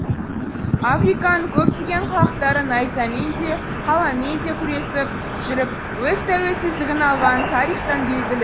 африканың көптеген халықтары найзамен де қаламмен де күресіп жүріп өз тәуелсіздігін алғаны тарихтан белгілі